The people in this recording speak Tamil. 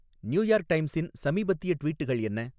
நியூயார்க் டைம்ஸின் சமீபத்திய ட்வீட்கள் என்ன